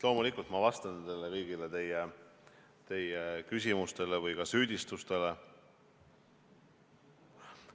Loomulikult vastan ma kõigile teie küsimustele või ka süüdistustele.